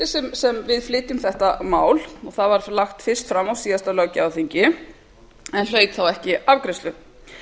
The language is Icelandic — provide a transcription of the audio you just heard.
á aðalskipulagi sveitarfélaga frumvarp þetta var lagt fram á síðasta löggjafarþingi en hlaut ekki afgreiðslu